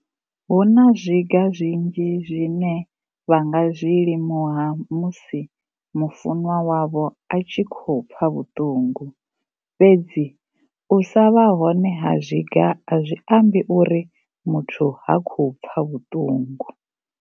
Hu na zwiga zwinzhi zwine vha nga zwi limuha musi mufunwa wavho a tshi khou pfa vhuṱungu, fhedzi u sa vha hone ha zwiga a zwi ambi uri muthu ha khou pfa vhuṱungu.